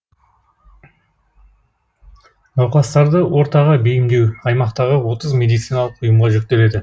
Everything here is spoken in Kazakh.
науқастарды ортаға бейімдеу аймақтағы отыз медициналық ұйымға жүктеледі